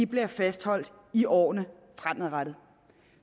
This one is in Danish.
bliver fastholdt i årene fremover